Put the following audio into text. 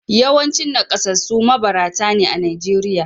Yawancin nakasassu mabarata ne a Najeriya